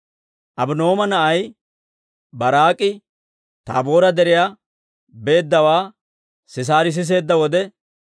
Abino'aama na'ay Baaraak'i Taaboora Deriyaa beeddawaa Sisaari siseedda wode,